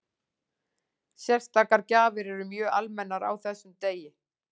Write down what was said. Sérstakar gjafir eru mjög almennar á þessum degi.